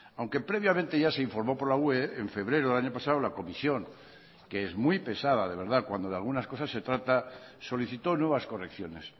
aunque previamente ya se informó por la ue en febrero del año pasado la comisión que es muy pesada de verdad cuando de algunas cosas se trata solicitó nuevas correcciones